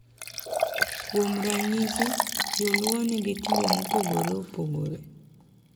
Kuom ranyisi, Jo-Luo nigi timbe mopogore opogore .